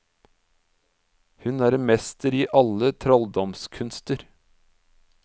Hun er en mester i alle trolldomskunster.